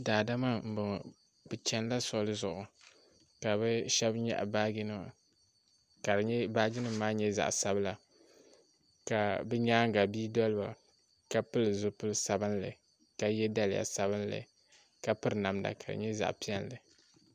daadama n bɔŋɔ be chɛnila solizu ka be shɛb nyɛgi baaji nima ka baaji nim maa nyɛ zaɣ' sabila ka be nyɛŋa bi doli ba ka pɛli zibili sabinli ka.yɛ daliya sabinli ka pɛri namda kadi nyɛ zaɣ' piɛli